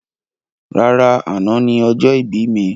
Rárá, àna ni ọjọ́ ìbí mi.